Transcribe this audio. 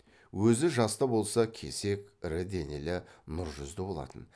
өзі жас та болса кесек ірі денелі нұр жүзді болатын